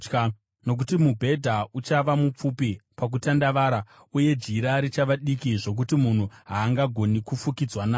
Nokuti mubhedha uchava mupfupi pakutandavara, uye jira richava diki zvokuti munhu haangagoni kufukidzwa naro.